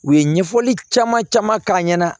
U ye ɲɛfɔli caman caman k'a ɲɛna